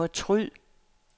fortryd